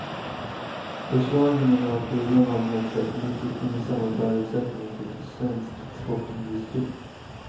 Försvagningen av kronan har medfört mycket gynnsamma förutsättningar för svensk exportindustri.